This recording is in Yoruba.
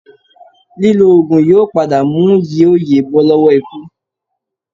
Lílò oògùn yóò padà mú yí o yè bọ́ lọ́wọ́ ikú